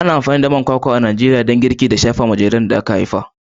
Ana amfani da man kwakwa a Najeriya kamar girki har ma da jariran da aka haifa.